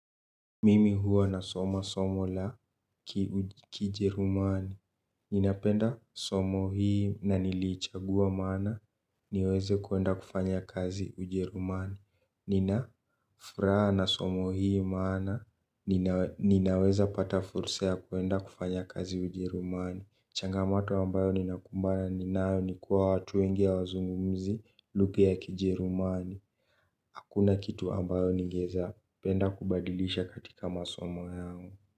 Mimi huwa na soma somo la kijerumani. Nina penda somo hii na niliichagua maana niweze kuenda kufanya kazi ujerumani. Nina furaha na somo hii maana ninaweza pata fursa ya kuenda kufanya kazi ujerumani. Changamato ambayo ninakumbana ninayo nikua watu wengi hawazungumzi lugha ya kijerumani. Hakuna kitu ambayo ningeeza penda kubadilisha katika masomo yangu.